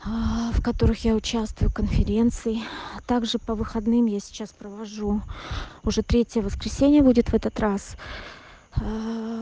в которых я участвую в конференций также по выходным я сейчас провожу уже третье воскресенье будет в этот раз